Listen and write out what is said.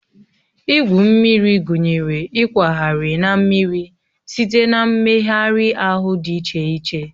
Igwu mmiri gụnyere ịkwagharị na mmiri site na mmegharị ahụ dị iche iche